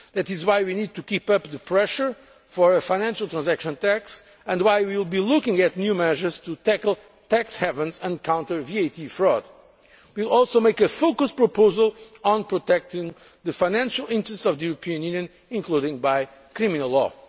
That is why we need to keep up the pressure for a financial transaction tax, and why we will be looking at new measures to tackle tax havens and counter VAT fraud. We will also make a focused proposal on protecting the financial interests of the European Union, including by criminal